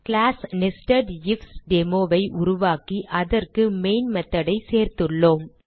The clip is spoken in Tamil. கிளாஸ் NesedIfDemo ஐ உருவாக்கி அதற்கு மெயின் method ஐ சேர்த்துள்ளோம்